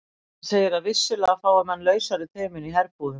Hann segir að vissulega fái menn lausari tauminn í herbúðum.